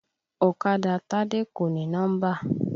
Ọ̀kadà Tádé kò ní nọ́mbà.